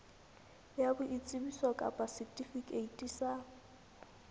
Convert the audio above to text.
ya boitsebiso kapa setifikeiti sa